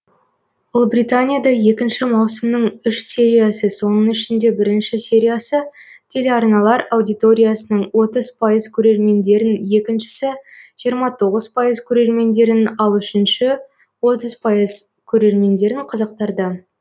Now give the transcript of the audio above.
ұлыбританияда екінші маусымның үш сериясы соның ішінде бірінші сериясы телеарналар аудиториясының отыз пайыз көрермендерін екіншісі жиырма тоғыз пайыз көрермендерін ал үшінші отыз пайыз көрермендерін қызықтырды